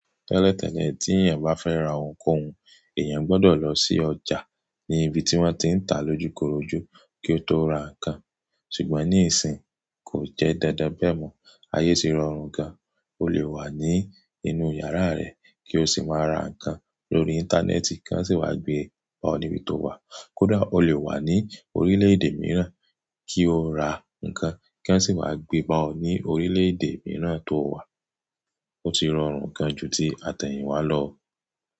Tẹ́lẹ̀ tẹ́lẹ̀ tí èèyàn bá fẹ́ ra ohun kọ̀ọ̀hún, èèyàn gbọdọ̀ lọ sí ọjà ní ibi tí wọ́n ti ń tà lójúkorojú kí ó tó ra nǹkan. Ṣùgbọ́n níìsín, kò jẹ́ dandan bẹ́ẹ̀ mọ́. Ayé ti rọrùn gan, o lè wà ní inú yàrá rẹ kí o sì máa ra nǹkan lórí íńtánẹ́ẹ̀tì kí wọ́n sì wá gbe bá ọ níbi tó wà. Kódà o lè wà ní orílẹ̀ èdè mìíràn kí o ra nǹkan kí wọ́n sì wá gbé ọ ní orílẹ̀ èdè mìíràn tó wà. Ó ti rọrùn gan jú ti àtẹ̀yìnwá lọ.